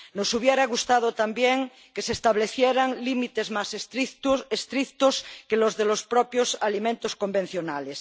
Nos hubiera gustado también que se establecieran límites más estrictos que los de los propios alimentos convencionales.